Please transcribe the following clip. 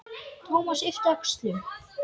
Thomas yppti öxlum.